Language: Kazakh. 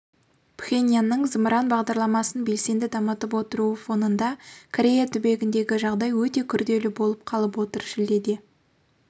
пхеньянның зымыран бағдарламасын белсенді дамытып отыруы фонында корея түбегіндегі жағдай өте күрделі болып қалып отыр шілдеде